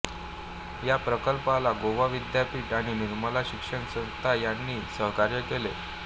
या प्रकल्पाला गोवा विद्यापीठ आणि निर्मला शिक्षण संस्था यांनी सहकार्य केले